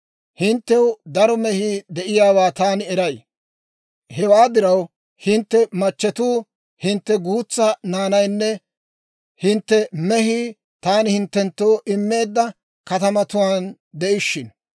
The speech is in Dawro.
Hinttew daro mehii de'iyaawaa taani eray; hewaa diraw, hintte machchetuu, hintte guutsaa naanaynne hintte mehii taani hinttenttoo immeedda katamatuwaan de'ishshino.